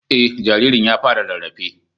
Eh, jaririn ya fara rarrafe tuni